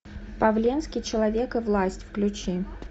павленский человек и власть включи